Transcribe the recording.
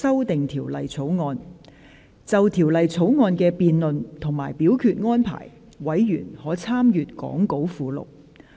就條例草案的辯論及表決安排，委員可參閱講稿附錄。